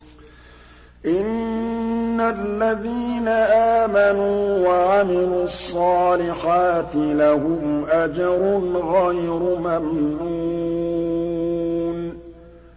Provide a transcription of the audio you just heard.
إِنَّ الَّذِينَ آمَنُوا وَعَمِلُوا الصَّالِحَاتِ لَهُمْ أَجْرٌ غَيْرُ مَمْنُونٍ